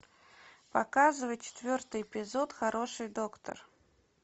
показывай четвертый эпизод хороший доктор